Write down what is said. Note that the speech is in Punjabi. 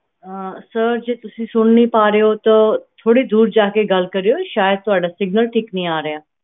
sir ਜੇ ਤੁਸੀਂ ਸੁਨ ਨਹੀਂ ਪਾ ਰਹੇ ਹੋ ਥੋੜੀ ਦੂਰ ਜਾ ਕੇ ਗੱਲ ਕਰਿਯੋ ਸ਼ਾਇਦ ਤੁਹਾਡਾ signal ਠੀਕ ਨਹੀਂ ਆ ਰਿਹਾ